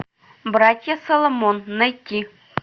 братья соломон найти